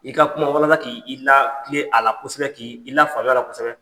I ka kuma k'i i la kile a la kosɛbɛ k'i la faamuya la kosɛbɛ.